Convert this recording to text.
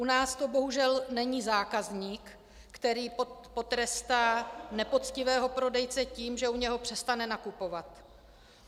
U nás to bohužel není zákazník, který potrestá nepoctivého prodejce tím, že u něj přestane nakupovat.